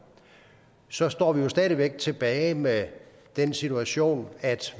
så står vi jo stadig væk tilbage med den situation at